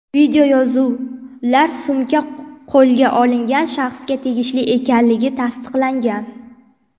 Videoyozuvlar sumka qo‘lga olingan shaxsga tegishli ekanligini tasdiqlagan.